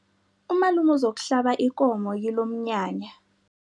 Umalume uzokuhlaba ikomo kilomnyanya.